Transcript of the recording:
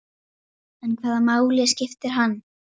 Ég hitti Dóra frænda þinn.